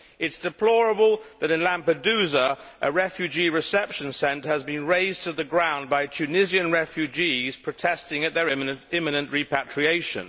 It is deplorable that in Lampedusa, a refugee reception centre has been razed to the ground by Tunisian refugees protesting at their imminent repatriation.